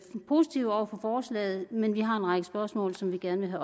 positive over for forslaget men vi har en række spørgsmål som vi gerne